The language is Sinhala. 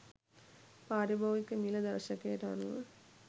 පාරිභෝගික මිල දර්ශකයට අනුව